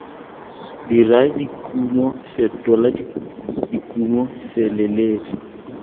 dira dikumo fetola dikumo feleletsa